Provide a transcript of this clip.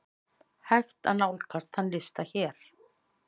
Hægt er nálgast þann lista hér.